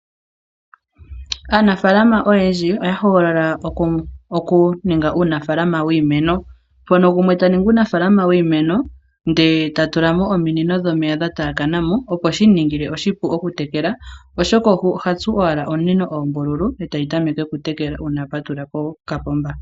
Anafaalamo oyendji oya hogolola oku ninga uunafaalama wiimeno mpono gumwe ta ningi unafaalama wiimeno nde ta tula mo ominino dhomeya dha taya kana mo opo shi muningile oshipu oku tekela oshoka oha tsu ominino oombululu etayi tameke oku tekela uuna a patulula ko kapomba.